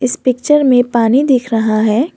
इस पिक्चर में पानी दिख रहा है।